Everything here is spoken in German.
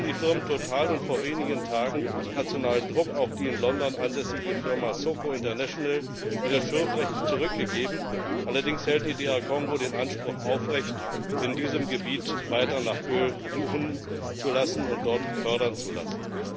Zwar hat die Firma Total und vor wenigen Tagen auf internationalen Druck auch die in London ansässige Firma SOCO International ihre Schürfrechte zurückgegeben, allerdings hält die DR Kongo den Anspruch aufrecht, in diesem Gebiet weiter nach Öl suchen und dort fördern zu lassen.